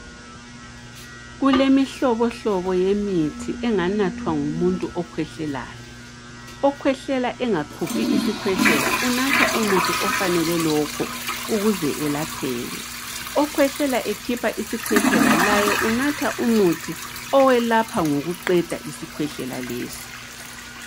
Kulemihlohlobo yemithi enganathwa ngumuntu okhwehlelayo. Okhwehlela engakhuphi isikhwehlela unatha umuthi ofanele lokho ukuze elapheke. Okhwehlela ekhipha isikhwehlela laye unatha umuthi owelapha ngokuqeda isikhwehlela leso.